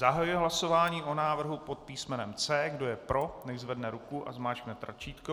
Zahajuji hlasování o návrhu pod písmenem C. Kdo je pro, nechť zvedne ruku a zmáčkne tlačítko.